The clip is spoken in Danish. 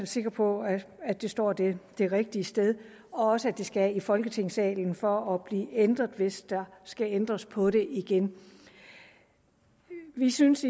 sikre på at at det står det det rigtige sted og også at det skal i folketingssalen for at blive ændret hvis der skal ændres på det igen vi synes